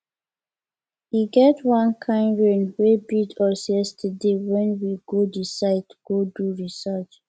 e get wan kin rain wey beat us yesterday wen we go the site go do research